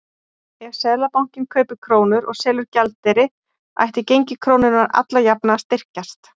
Ef Seðlabankinn kaupir krónur og selur gjaldeyri ætti gengi krónunnar alla jafna að styrkjast.